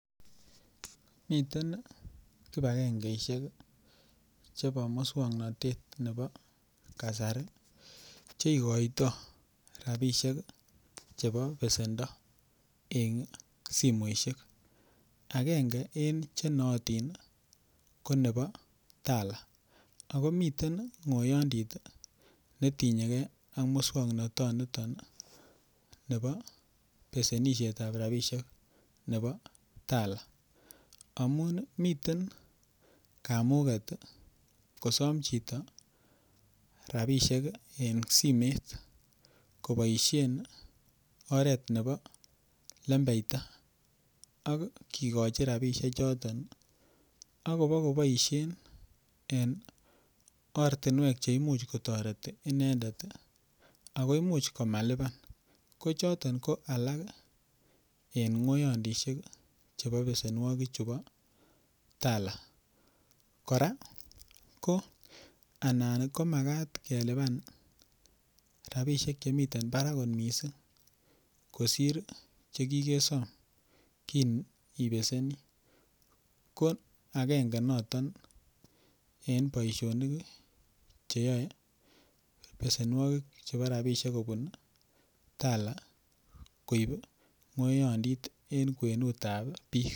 miten kibagengeishek iih chebo muswoknotet nebo kasari cheigoitoo rabishek iih chebo besendo en simoishek, agenge en chenootin iih ko nebo tala, ago miten ngoyondiit netinyegee ak muswoknoton niton iih nebo besenishet ab rabishek nebo tala, amuun miten kamugeet kosoom chito rabishek iih en simeet koboishen oreet nebo lembeita ak kigochi rabishek choton ak ibogoboishen en ortinweek cheimuch kotoreten inendet ako imuch komalibaan, kochoton ko alak en ngoyondishek chebo besenwogik chu bo tala, kora ko anan komagat kelibaan rabishek chemiten barak mising kosiir chegigesom kinibesenii, ko agenge noton en boishonik iih cheyoe besenwogik chebo rabishek kobuun iih tala koib iih ngoyondiit en kwenuut ab biik.